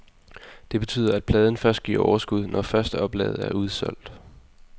Det betyder, at pladen først giver overskud, når førsteoplaget er udsolgt.